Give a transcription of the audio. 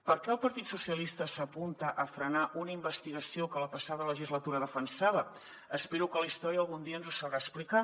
per què el partit socialista s’apunta a frenar una investigació que la passada legislatura defensava espero que la història algun dia ens ho sabrà explicar